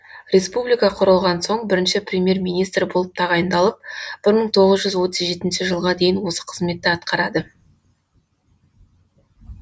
республика құрылған соң бірінші премьер министр болып тағайындалып бір мың тоғыз жүз отыз жетінші жылға дейін осы қызметті атқарады